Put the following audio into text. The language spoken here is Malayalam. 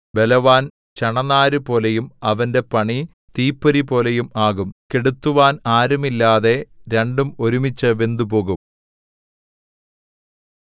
ബലവാൻ ചണനാരുപോലെയും അവന്റെ പണി തീപ്പൊരിപോലെയും ആകും കെടുത്തുവാൻ ആരുമില്ലാതെ രണ്ടും ഒരുമിച്ചു വെന്തുപോകും